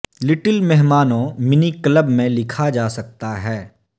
little مہمانوں mini club میں لکھا جا سکتا ہے